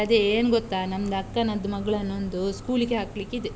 ಅದೇ ಏನ್ ಗೊತ್ತಾ, ನಮ್ದ್ ಅಕ್ಕನದ್ದು ಮಗಳನ್ನೊಂದು school ಗೆ ಹಾಕ್ಲಿಕ್ಕೆ ಇದೆ.